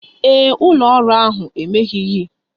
Ee e, ụlọ ọrụ ahụ emegheghi.